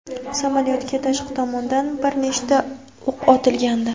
Samolyotgaa tashqi tomondan bir nechta o‘q otilgandi.